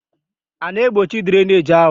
A na-egbochi drainage ahụ?